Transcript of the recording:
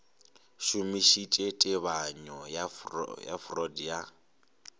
šomišitše tebanyo ya freud ya